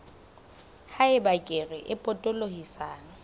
ha eba kere e potolohisang